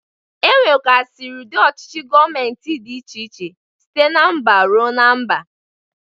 Enwegasiri ụdị ọchịchị Gọmenti dị iche iche site na mba rue na mba.